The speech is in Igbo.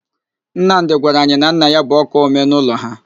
Nnamdị gwara anyị na nna ya bụ ọ́kaa ọmee n'ụlọ ha.